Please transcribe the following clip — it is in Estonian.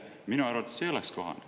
Minu arvates see ei oleks kohane.